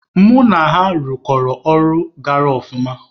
Mụ na ha ịrụkọ ọrụ gara ọfụma.